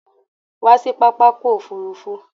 Come to the airport.